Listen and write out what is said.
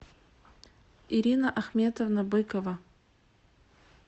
ирина ахметовна быкова